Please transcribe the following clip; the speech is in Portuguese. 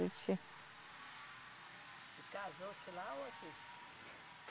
E casou-se lá ou aqui?